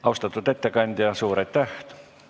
Austatud ettekandja, suur aitäh!